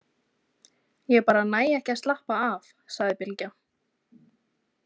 Ég bara næ ekki að slappa af, sagði Bylgja.